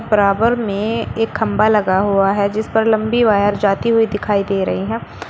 बराबर में एक खंभा लगा हुआ है जिस पर लंबी वायर जाती हुई दिखाई दे रही है।